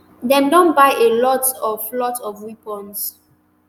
dem don buy a lot of lot of weapons